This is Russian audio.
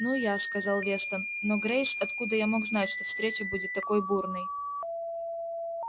ну я сказал вестон но грейс откуда я мог знать что встреча будет такой бурной